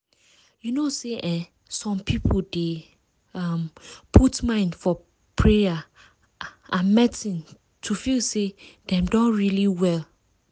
you know say eeh some people dey um put mind for for payer ah and medicine to feel say dem don really well.